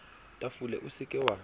tafole o se ke wa